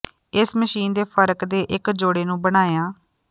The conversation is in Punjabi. ਇਸ ਮਸ਼ੀਨ ਦੇ ਫਰਕ ਦੇ ਇੱਕ ਜੋੜੇ ਨੂੰ ਬਣਾਇਆ